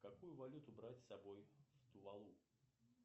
какую валюту брать с собой в тувалу